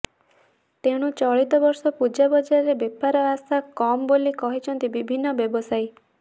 ତେଣୁ ଚଳିତ ବର୍ଷ ପୂଜା ବଜାରରେ ବେପାର ଆଶା କମ୍ ବୋଲି କହିଛନ୍ତି ବିଭିନ୍ନ ବ୍ୟବସାୟୀ